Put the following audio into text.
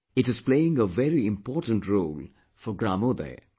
It is playing a very important role for gramodaya